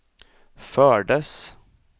fördes